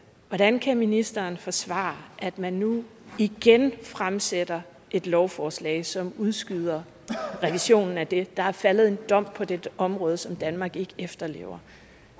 hvordan kan ministeren forsvare at man nu igen fremsætter et lovforslag som udskyder revisionen af det der er faldet en dom på det område som danmark ikke efterlever